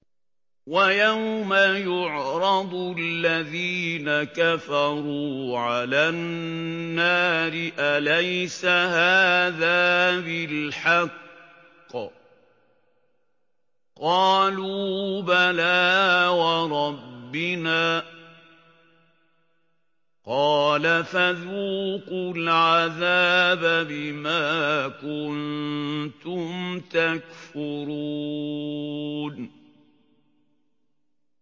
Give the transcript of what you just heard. وَيَوْمَ يُعْرَضُ الَّذِينَ كَفَرُوا عَلَى النَّارِ أَلَيْسَ هَٰذَا بِالْحَقِّ ۖ قَالُوا بَلَىٰ وَرَبِّنَا ۚ قَالَ فَذُوقُوا الْعَذَابَ بِمَا كُنتُمْ تَكْفُرُونَ